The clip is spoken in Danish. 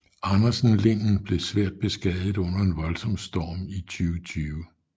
Andersen linden blev svært beskadiget under en voldsom storm i 2020